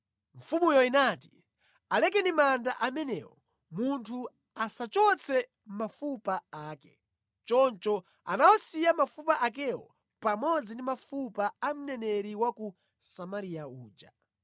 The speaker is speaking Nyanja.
Mfumuyo inati, “Alekeni manda amenewo, munthu asachotse mafupa ake.” Choncho anawasiya mafupa akewo pamodzi ndi mafupa a mneneri wa ku Samariya uja.